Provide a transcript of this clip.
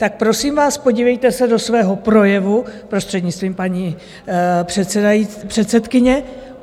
Tak prosím vás, podívejte se do svého projevu, prostřednictvím paní předsedkyně.